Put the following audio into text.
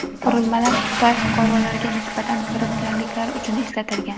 Qurilmalar Xitoy fuqarolariga nisbatan firibgarliklar uchun ishlatilgan.